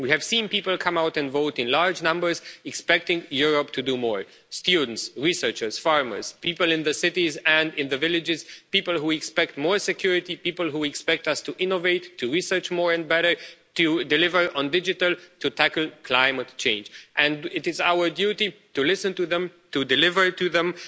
We have seen people come out and vote in large numbers, expecting Europe to do more students, researchers, farmers, people in the cities and in the villages, people who expect more security, and people who expect us to innovate, to research more and better deliver on digital, and to tackle climate change and it is our duty to listen to them and to deliver it to them.